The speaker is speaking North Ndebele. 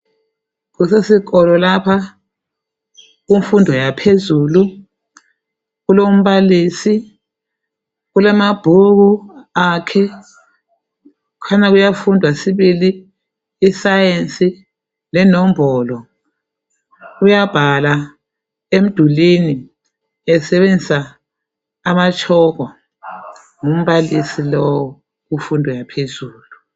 Kusesikolo lapha. Kumfundo yaphezulu. Kulombalisi. Ulamabhuku akhe. Kukhanya kuyafundwa sibili, iScience leNombolo. Uyabhala emdulwini, esebenzisa amatshoko. Ngumbalisi lowo, kumfundo yaphezulu.